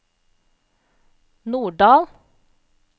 Norddal